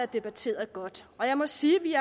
debatteret godt og jeg må sige at vi